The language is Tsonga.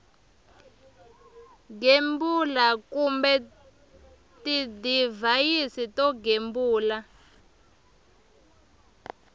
gembula kumbe tidivhayisi to gembula